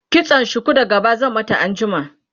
kitsan shuku da gaba zan mata anjima